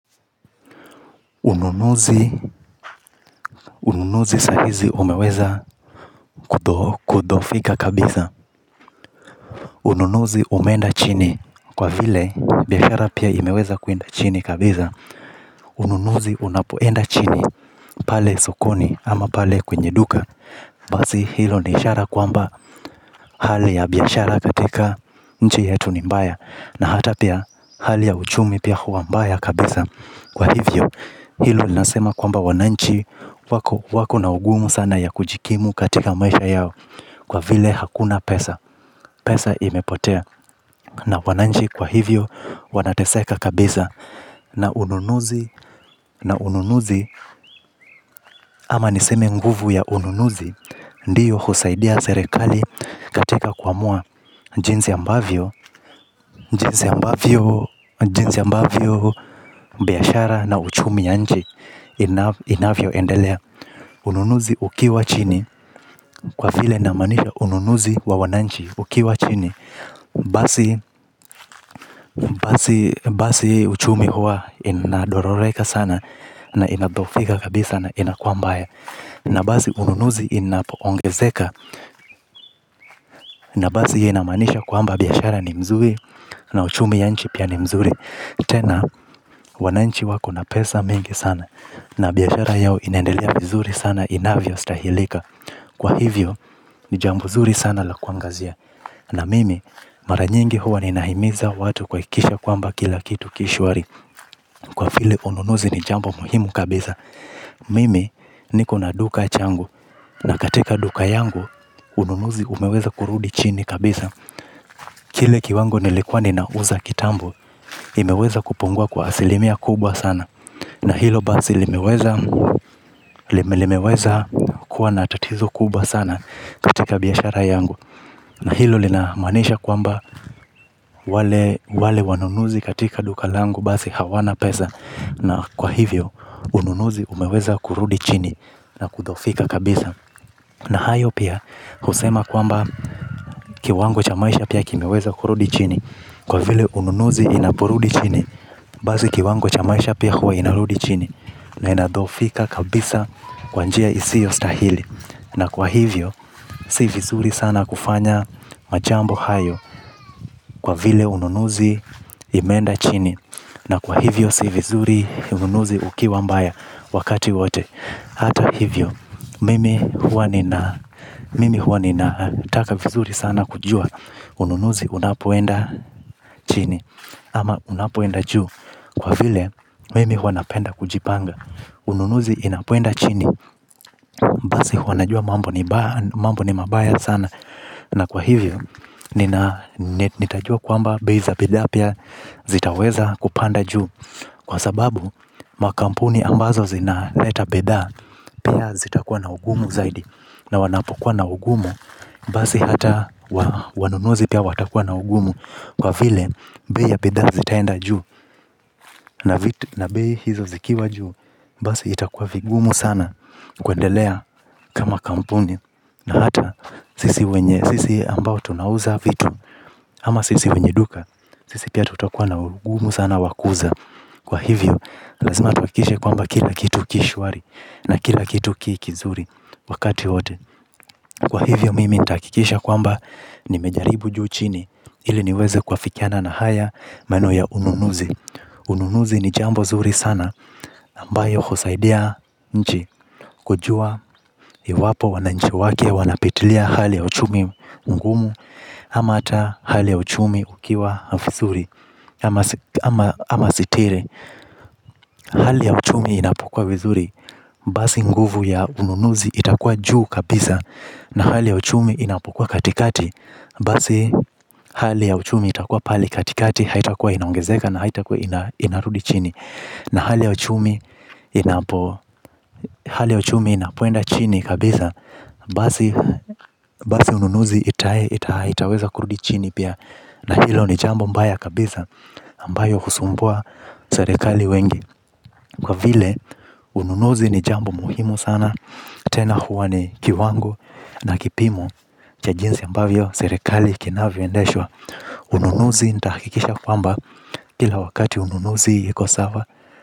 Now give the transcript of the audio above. Ununuzi, ununuzi saa hizi umeweza kudhoofika kabisa. Ununuzi umeenda chini kwa vile biashara pia imeweza kuenda chini kabisa. Ununuzi unapoenda chini pale sokoni ama pale kwenye duka. Basi hilo ni ishara kwamba hali ya biashara katika nchi yetu ni mbaya. Na hata pia hali ya uchumi pia huwa mbaya kabisa. Kwa hivyo hilo nasema kwamba wananchi wako na ugumu sana ya kujikimu katika maisha yao kwa vile hakuna pesa. Pesa imepotea. Na wananchi kwa hivyo wanateseka kabisa. Na ununuzi ama niseme nguvu ya ununuzi ndiyo husaidia serikali katika kuamua jinsi ambavyo jinsi ambavyo biashara na uchumi ya nchi inavyo endelea ununuzi ukiwa chini. Kwa vile namaanisha ununuzi wa wananchi ukiwa chini basi. Basi uchumi huwa inadororeka sana. Na inadhoofika kabisa na inakuwa mbaya. Na basi ununuzi inapoongezeka na basi hiyo inamanisha kwamba biashara ni mzuri. Na uchumi ya nchi pia ni mzuri. Tena wananchi wako na pesa mingi sana na biashara yao inaenda vizuri sana inavyostahilika kwa hivyo ni jambo nzuri sana la kuangazia. Na mimi mara nyingi huwa ni nahimiza watu kuhakikisha kwamba kila kitu ki shuari. Kwa vile ununuzi ni jambo muhimu kabisa. Mimi niko na duka changu na katika duka yangu ununuzi umeweza kurudi chini kabisa. Kile kiwango nilikuwa ninauza kitambo imeweza kupungua kwa asilimia kubwa sana. Na hilo basi limeweza kuwa na tatizo kubwa sana katika biashara yangu. Na hilo linamaanisha kwamba wale wanunuzi katika duka langu basi hawana pesa. Na kwa hivyo ununuzi umeweza kurudi chini na kudhoofika kabisa. Na hayo pia kusema kwamba kiwango cha maisha pia kimeweza kurudi chini. Kwa vile ununuzi inaporudi chini. Basi kiwango cha maisha pia kuwa inarudi chini. Na inadhoofika kabisa kwa njia isiostahili. Na kwa hivyo si vizuri sana kufanya majambo hayo. Kwa vile ununuzi imeenda chini. Na kwa hivyo si vizuri ununuzi ukiwa mbaya wakati wote hata hivyo mimi huwa ninataka vizuri sana kujua ununuzi unapoenda chini ama unapoenda juu kwa vile mimi huwa napenda kujipanga. Ununuzi inapoenda chini basi huwa najua mambo ni mabaya sana. Na kwa hivyo nitajua kwamba bei za bidhaa pia zitaweza kupanda juu kwa sababu makampuni ambazo zina leta bidhaa pia zitakuwa na ugumu zaidi. Na wanapokuwa na ugumu basi hata wanunuzi pia watakuwa na ugumu. Kwa vile bei ya bidhaa zitaenda juu na bei hizo zikiwa juu. Basi itakuwa vigumu sana kuendelea kama kampuni na hata sisi ambao tunauza vitu ama sisi wenye duka sisi pia tutakuwa na ugumu sana wa kuuza. Kwa hivyo, lazima tuhakikishe kwamba kila kitu ki shwari na kila kitu ki kizuri wakati wote. Kwa hivyo mimi nitakikisha kwamba nimejaribu juu chini ili niweze kuafikiana na haya maneno ya ununuzi. Ununuzi ni jambo zuri sana ambayo husaidia nchi kujua yu wapo wananchi wake wanapitilia hali ya uchumi ngumu. Ama hata hali ya uchumi ukiwa vizuri. Ama sitire Hali ya uchumi inapukua vizuri basi nguvu ya ununuzi itakuwa juu kabisa. Na hali ya uchumi inapokuwa katikati. Basi hali ya uchumi itakuwa pahali katikati. Haitakuwa inaongezeka na haitakua inarudi chini. Na hali ya uchumi inapo hali ya uchumi inapoenda chini kabisa basi. Basi ununuzi itaweza kurudi chini pia. Na hilo ni jambo mbaya kabisa ambayo husumbua serikali wengi. Kwa vile ununuzi ni jambo muhimu sana. Tena huwa ni kiwango na kipimo cha jinsi ambavyo serikali kinavyoendeshwa. Ununuzi nitahakikisha kwamba kila wakati ununuzi iko sawa.